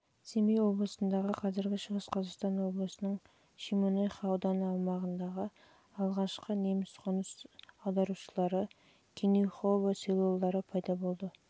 семей облысындағы қазіргі шығыс қазақстан облысының шемонаиха ауданы аумағындағы алғашқы неміс қоныс аударушылар селолары жылы пайда болып кенюхово